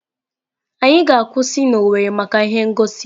Anyị ga-akwụsị na Owerri maka ihe ngosi.